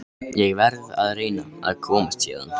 Ég verð að reyna að komast héðan.